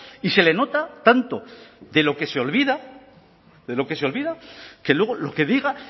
y se le nota tanto de lo que se olvida de lo que se olvida que luego lo que diga